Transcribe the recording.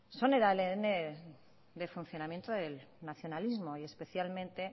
son el adn del funcionamiento del nacionalismo y especialmente